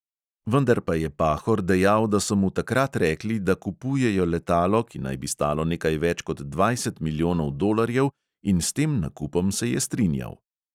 Vendar pa je pahor dejal, da so mu takrat rekli, da kupujejo letalo, ki naj bi stalo nekaj več kot dvajset milijonov dolarjev in s tem nakupom se je strinjal.